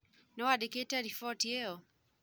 Nĩwandĩkĩte riboti ĩyo?